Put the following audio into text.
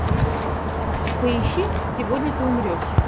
поищи сегодня ты умрешь